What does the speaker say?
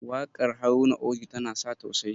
wakar Haruna oji tana sa tausayi